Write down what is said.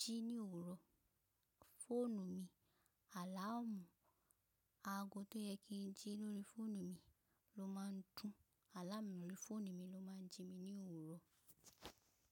jí ní òwúrọ̀, fóònù mi, àláàmù aago tó yẹ kí n jí lórí fóònù mi ló máa ń dún. Àláàmù lórí fóònù mi ló máa ń jí mi ní òwúrọ̀.